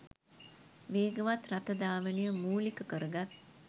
වේගවත් රථ ධාවනය මූලික කරගත්